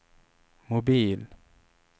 mobil